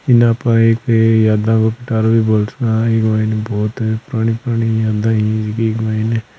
इन ने आप एक यादा को पिटारो भी बोल सका है एम बहुत ही पुरानी-पुरानी यादे इ के मायने --